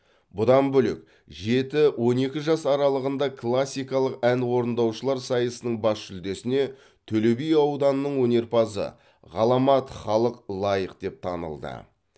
бұдан бөлек жеті он екі жас аралығында классикалық ән орындаушылар сайысының бас жүлдесіне төлеби ауданының өнерпазы ғаламат халық лайық деп танылды